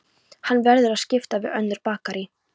Hann verður að skipta við önnur bakarí.